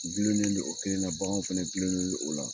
Gilolennen non o kelen na, bagan fana gilonlennen non o la